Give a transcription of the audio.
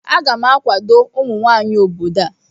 Aga m akwado ụmụnwanyị obodo a